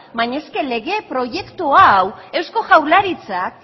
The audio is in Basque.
baina lege proiektu hau eusko jaurlaritzak